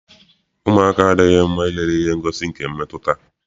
Ụmụaka adịghị mma ilele ihe ngosi nke mmetụta.